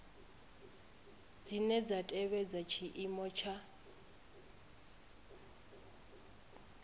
dzine dza tevhedza tshiimo tsha